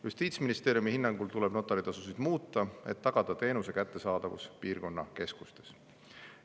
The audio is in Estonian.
Justiitsministeeriumi hinnangul tuleb notari tasusid muuta, et tagada teenuste kättesaadavus piirkonnakeskustes.